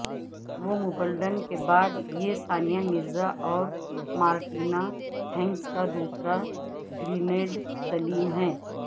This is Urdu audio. ومبلڈن کے بعد یہ ثانیہ مرزا اور مارٹینا ہنگس کا دوسرا گرینڈ سلیم ہے